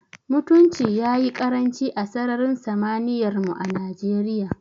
Mutunci ya yi ƙaranci a sararin samaniyar mu a Najeriya.